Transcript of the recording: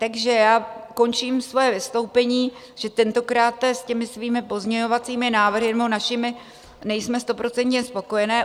Takže já končím svoje vystoupení, že tentokráte s těmi svými pozměňovacími návrhy, nebo našimi, nejsme stoprocentně spokojené.